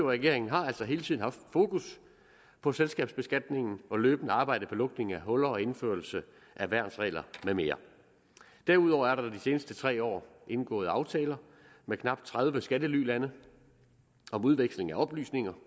regeringen har altså hele tiden haft fokus på selskabsbeskatningen og løbende arbejdet for lukning af huller og indførelse af værnsregler med mere derudover er der de seneste tre år indgået aftaler med knap tredive skattelylande om udveksling af oplysninger